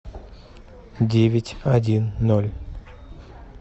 девять один ноль